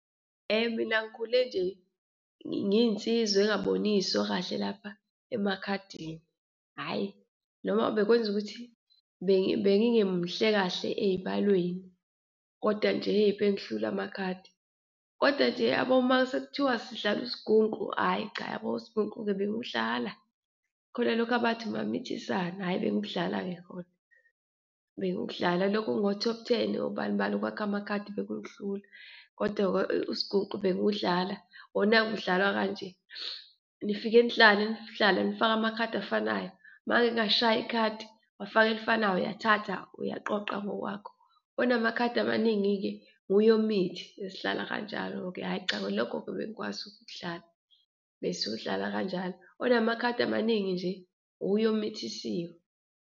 Mina ngikhule nje ngiyinsizwa engaboniswa kahle lapha emakhadini, hhayi! Noma bekwenza ukuthi bengingemuhle kahle eyibalweni kodwa nje hheyi, ebengihlula amakhadi, kodwa nje uyabo uma sekuthiwa sidlala usigungu, ayi cha yabo usigungu-ke bengiwudlala. Khona lokhu abathi umamithisana, ayi, bengibudlala-ke kona, bengibudlala lokho ngo-top ten, obani bani, ukwakha amakhadi bekungihlula kodwa-ke usigungu bengiwudlala. Wona-ke udlalwa kanje, nifike nidlale, nidlale nifake amakhadi afanayo, uma ngike ngashaya ikhadi, wafaka elifanayo, uyathatha, uyaqoqa ngokwakho, onamakhadi amaningi-ke uye omithi, besidlala kanjalo-ke. Hhayi cha lokho-ke bengikwazi ukudlala, besiwudlala kanjalo, onamakhadi amaningi nje uye omithisiwe.